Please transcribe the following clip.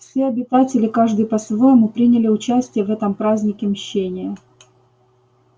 все обитатели каждый по-своему приняли участие в этом празднике мщения